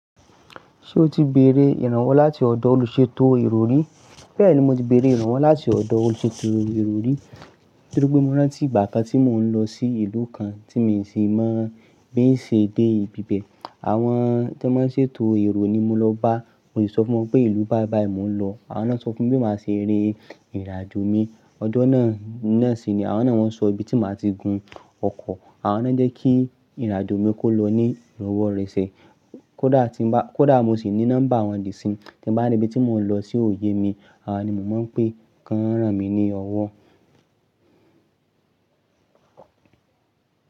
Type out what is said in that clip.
Ṣé o ti béèrè ìrànwọ́ láti ọ̀dọ̀ olùṣètò èrò rí? Bẹ́ẹ̀ ni mo ti béèrè ìrànwọ́ láti ọ̀dọ̀ olùṣètò èrò rí, nítorí pé mo rántí ìgbà kan tí mò ń lọ sí ìlú kan tí mi ò sì mọ̀ bí n ṣe dé ibi bẹ̀. Àwọn tí wọ́n ń ṣètò èrò ni mo lọ bá, mo sì sọ fún wọn pé ìlú báìbàí mò ń lọ. Àwọn náà sọ fún mi bí màá ṣe rí ìrìnàjò mi. Ọjọ́ náà náà sì ni àwọn náà wọ́n sọ ibi tí màá ti gun ọkọ̀. Àwọn náà jẹ́ kí ìrìnàjò mi kó lọ ní ìrọwọ́ rẹ̀ ṣe. Kódà tí ń bá, kódà mo sì ní number wọn dì sí n, tí n bá ní ibi tí mò ń lọ tí òye mi, awọn ni mò ń pè, kan ràn mí ní ọwọ́.